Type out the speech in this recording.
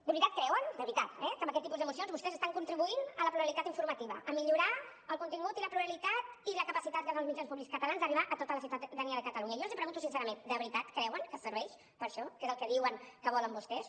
de veritat creuen de veritat eh que amb aquest tipus de mocions vostès estan contribuint a la pluralitat informativa a millorar el contingut i la pluralitat i la capacitat dels mitjans públics catalans a arribar a tota la ciutadania de catalunya jo els ho pregunto sincerament de veritat creuen que serveix per a això que és el que diuen que volen vostès